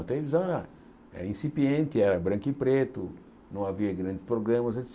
A televisão era era incipiente, era branco e preto, não havia grandes programas, et